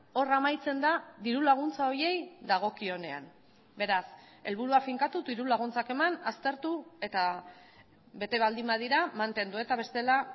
hor amaitzen da diru laguntza horiei dagokionean beraz helburua finkatu diru laguntzak eman aztertu eta bete baldin badira mantendu eta bestela